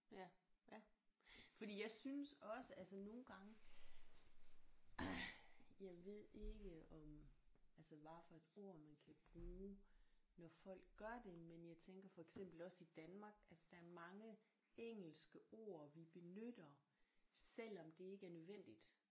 Ja ja fordi jeg synes også altså nogle gange jeg ved ikke om altså hvad for et ord man kan bruge når folk gør det men jeg tænker for eksempel også i Danmark altså der er mange engelske ord vi benytter selvom det ikke er nødvendigt